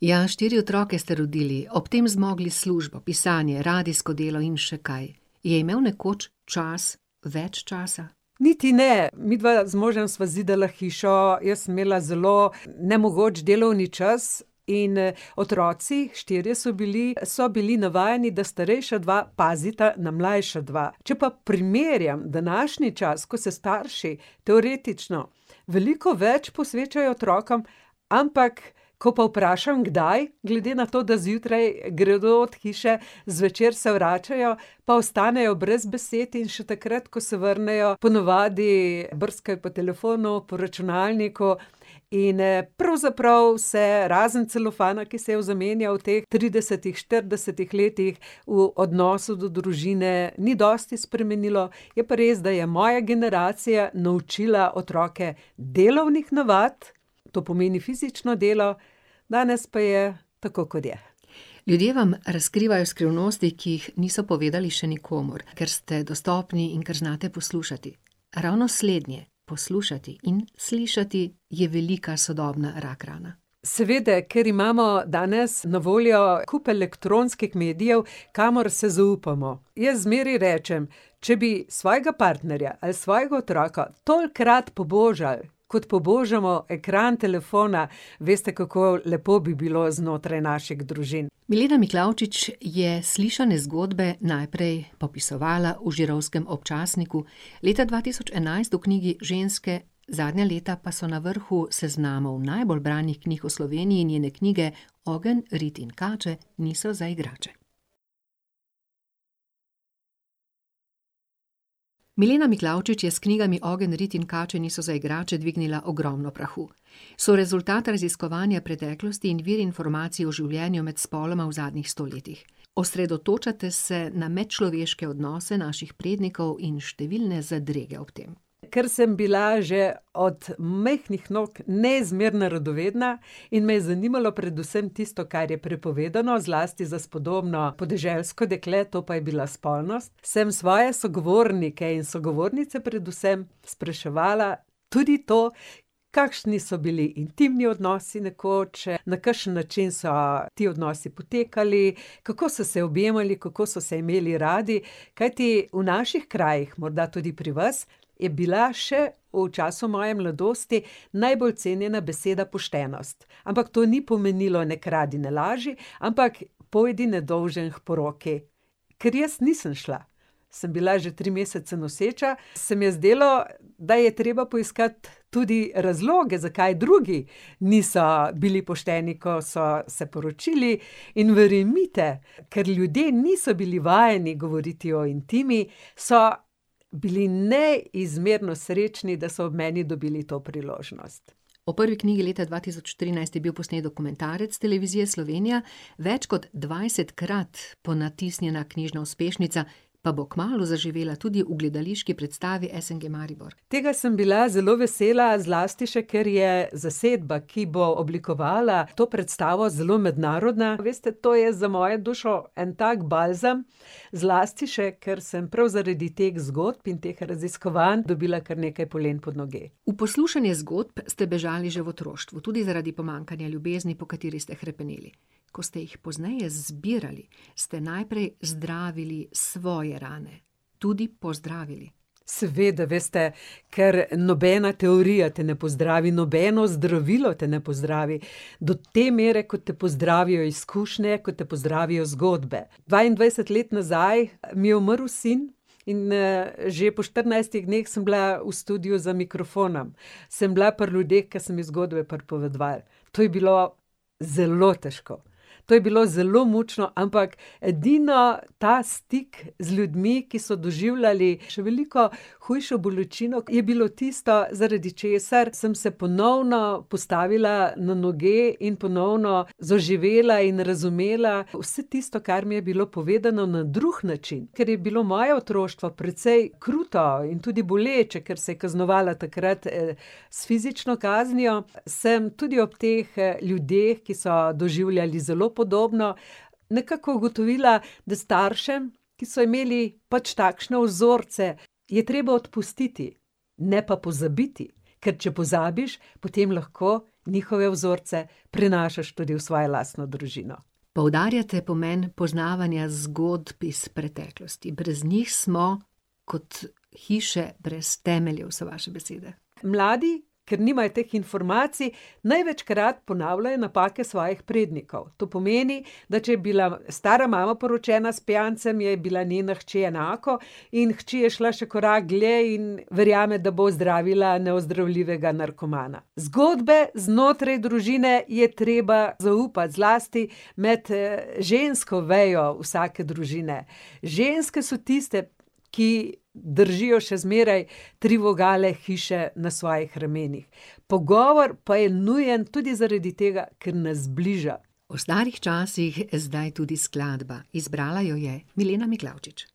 Ja, štiri otroke ste rodili. Ob tem zmogli službo, pisanje, radijsko delo in še kaj. Je imel nekoč čas več časa? Niti ne, midva z možem sva zidala hišo, jaz sem imela zelo nemogoč delovni čas in, otroci, štirje so bili, so bili navajeni, da starejša dva pazita na mlajše dva. Če pa primerjam današnji čas, ko se starši teoretično veliko več posvečajo otrokom, ampak ko pa vprašam, kdaj, glede na to, da zjutraj gredo, zvečer se vračajo, pa ostanejo brez besed in še takrat, ko se vrnejo, ponavadi brskajo po telefonu, po računalniku in, pravzaprav se razen celofana, ki se je zamenjal v teh tridesetih, štiridesetih letih, v odnosu do družine ni dosti spremenilo. Je pa res, da je moja generacija naučila otroke delovnih navad, to pomeni fizično delo, danes pa je tako, kot je. Ljudje vam razkrivajo skrivnosti, ki jih niso povedali še nikomur, ker ste dostopni in ker znate poslušati. Ravno slednje, poslušati in slišati, je velika sodobna rak rana. Seveda, ker imamo danes na voljo kup elektronskih medijev, kamor se zaupamo. Jaz zmeraj rečem: "Če bi svojega partnerja ali svojega otroka tolikokrat pobožal, kot pobožamo ekran telefona, veste, kako lepo bi bilo znotraj naših družin." Milena Miklavčič je slišane zgodbe najprej popisovala v Žirovskem občasniku, leta dva tisoč enajst v knjigi Ženske, zadnja leta pa so na vrhu seznamov najbolj branih knjig v Sloveniji njene knjige Ogenj, rit in kače niso za igrače. Milena Miklavčič je s knjigami Ogenj, rit in kače niso za igrače dvignila ogromno prahu. So rezultat raziskovanja preteklosti in vir informacij o življenju med spoloma v zadnjih sto letih. Osredotočate se na medčloveške odnose naših prednikov in številne zadrege ob tem. Ker sem bila že od majhnih nog neizmerno radovedna in me je zanimalo predvsem tisto, kar je prepovedano, zlasti za spodobno, podeželsko dekle, to pa je bila spolnost, sem svoje sogovornike in sogovornice predvsem spraševala tudi to, kakšni so bili intimni odnosi nekoč, na kakšen način so ti odnosi potekali, kako so se objemali, kako so se imeli radi. Kajti v naših krajih, morda tudi pri vas, je bila še v času moje mladosti najbolj cenjena beseda poštenost. Ampak to ni pomenilo ne kradi, ne laži, ampak pojdi nedolžen k poroki. Ker jaz nisem šla, sem bila že tri mesece noseča, se mi je zdelo, da je treba poiskati tudi razloge, zakaj drugi niso bili pošteni, ko so se poročili, in verjemite, ker ljudje niso bili vajeni govoriti o intimi, so bili neizmerno srečni, da so ob meni dobili to priložnost. O prvi knjigi leta dva tisoč trinajst je bil posnet dokumentarec Televizije Slovenija, več kot dvajsetkrat ponatisnjena knjižna uspešnica pa bo kmalu zaživela tudi v gledališki predstavi SNG Maribor. Tega sem bila zelo vesela, zlasti še ker je zasedba, ki bo oblikovala to predstavo, zelo mednarodna. Veste, to je za mojo dušo en tak balzam, zlasti še ker sem prav zaradi teh zgodb in teh raziskovanj dobila kar nekaj polen pod noge. V poslušanje zgodb ste bežali že v otroštvu. Tudi zaradi pomanjkanja ljubezni, po kateri ste hrepeneli. Ko ste jih pozneje zbirali, ste najprej zdravili svoje rane. Tudi pozdravili. Seveda, veste, ker nobena teorija te ne pozdravi, nobeno zdravilo te ne pozdravi do te mere, kot te pozdravijo izkušnje, kot te pozdravijo zgodbe. Dvaindvajset let nazaj mi je umrl sin in, že po štirinajstih dneh sem bila v studiu za mikrofonom. Sem bila pri ljudeh, ki so mi zgodbe pripovedovali. To je bilo zelo težko. To je bilo zelo mučno, ampak edino ta stik z ljudmi, ki so doživljali še veliko hujšo bolečino, je bilo tisto, zaradi česar sem se ponovno postavila na noge in ponovno zaživela in razumela vse tisto, kar mi je bilo povedano na drug način. Ker je bilo moje otroštvo precej kruto in tudi boleče, ker se je kaznovalo takrat, s fizično kaznijo, sem tudi ob teh, ljudeh, ki so doživljali zelo podobno, nekako ugotovila, da staršem, ki so imeli pač takšne vzorce, je treba odpustiti, ne pa pozabiti. Ker če pozabiš, potem lahko njihove vzorce prenašaš tudi v svojo lastno družino. Poudarjate pomen poznavanja zgodb iz preteklosti, brez njih smo kot hiše brez temeljev, so vaše besede. Mladi, ker nimajo teh informacij, največkrat ponavljajo napake svojih prednikov. To pomeni, da če je bila stara mama poročena s pijancem, je bila njena hči enako in hči je šla še korak dlje in verjame, da bo ozdravila neozdravljivega narkomana. Zgodbe znotraj družine je treba zaupati, zlasti med, žensko vejo vsake družine. Ženske so tiste, ki držijo še zmeraj tri vogale hiše na svojih ramenih. Pogovor pa je nujen tudi zaradi tega, ker nas zbliža. O starih časih zdaj tudi skladba. Izbrala jo je Milena Miklavčič.